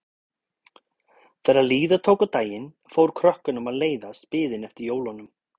Þegar líða tók á daginn fór krökkunum að leiðast biðin eftir jólunum.